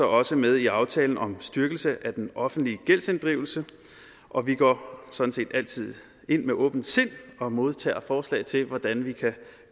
også med i aftalen om styrkelse af den offentlige gældsinddrivelse og vi går sådan set altid ind med åbent sind og modtager forslag til hvordan vi kan